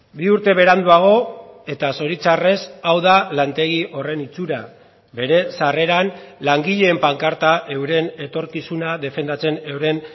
bi urte beranduago eta zoritxarrez hau da lantegi horren itxura bere sarreran langileen pankarta euren etorkizuna defendatzen euren